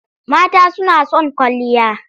Mata suna son kwalliya.